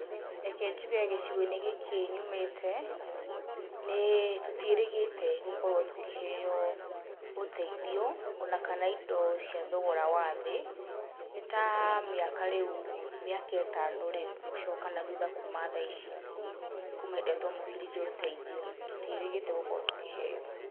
Reke njuge gĩcigo-inĩ gĩkĩ nyumĩte, nĩ tũtiĩrĩgĩte gũkorwo tũkĩheyo ũteithio, ona kana indo cia thogora wathiĩ, nĩ ta mĩaka rĩu, mĩaka ĩtano rĩu gũcoka na thutha kuma thaa ici, kuma hĩndĩa twamũkĩrire ũteithio, tũtiĩrĩgĩte gũkorwo tũkĩheyo.